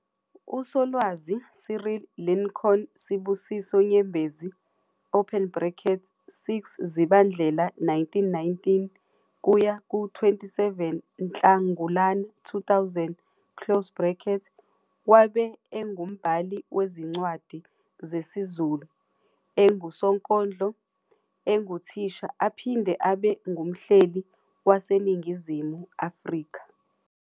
Usolwazi Cyril Lincoln Sibusiso Nyembezi, 6 Zibandlela 1919 - 27 Nhlangulana 2000, wabe engumbhali wezincwadi zesiZuliu, engusonkondlo, enguthisha aphinde abe ngumhleli waseNingizimu Afrika.